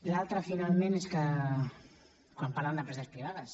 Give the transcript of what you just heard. l’altra finalment és que quan parlen d’empreses privades